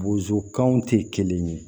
Bozokanw tɛ kelen ye